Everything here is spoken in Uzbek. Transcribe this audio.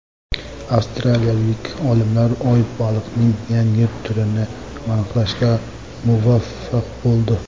Avstraliyalik olimlar oy-baliqning yangi turini aniqlashga muvaffaq bo‘ldi.